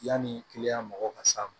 Yanni mɔgɔw ka s'a ma